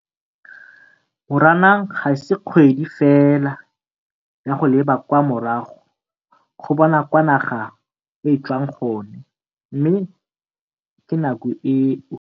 Moranang ga se kgwedi fela ya go leba kwa morago go bona kwa naga e tswang gone, mme ke nako eo